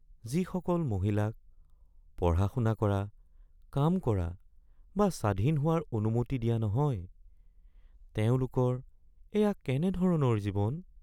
যিসকল মহিলাক পঢ়া-শুনা কৰা, কাম কৰা বা স্বাধীন হোৱাৰ অনুমতি দিয়া নহয়, তেওঁলোকৰ এয়া কেনে ধৰণৰ জীৱন?